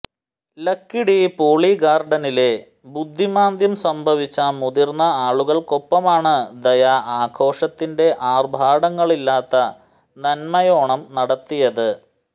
ലക്കിടി പോളിഗാർഡനിലെ ബുദ്ധിമാന്ദ്യം സംഭവിച്ച മുതിർന്ന ആളുകൾക്കൊപ്പമാണ് ദയ ആഘോഷത്തിന്റെആർഭാടങ്ങളില്ലാത്ത നന്മയോണം നടത്തിയത്